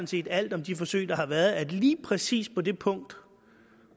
set alt om de forsøg der har været at lige præcis på det punkt